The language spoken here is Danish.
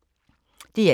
DR1